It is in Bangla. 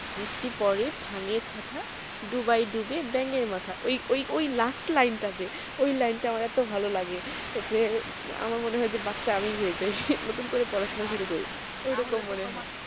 বৃষ্টি পড়ে ভাঙে ছাতা দুবাই ডুবে ব্যাঙের মাথা ওই ওই last line টা যে ওই line টা আমার এতো ভালো লাগে যে আমার মনে হয় যে বাচ্চা আমিই হয়ে যায় নতুন করে পড়াশোনা শুরু করি ওই রকম মনে হয়